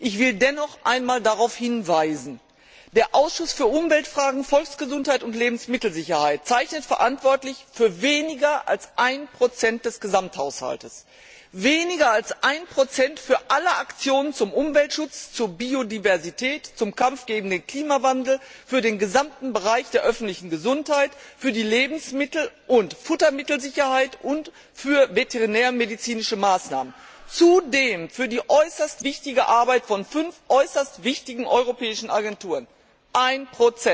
Ich will dennoch noch einmal darauf hinweisen Der Ausschuss für Umweltfragen, Volksgesundheit und Lebensmittelsicherheit zeichnet verantwortlich für weniger als 1 des Gesamthaushalts, weniger als 1 für alle Aktionen zum Umweltschutz, zur Biodiversität, zum Kampf gegen den Klimawandel, für den gesamten Bereich der öffentlichen Gesundheit, für die Lebensmittel und Futtermittelsicherheit und für veterinärmedizinische Maßnahmen, zudem für die äußerst wichtige Arbeit von fünf europäischen Agenturen. 1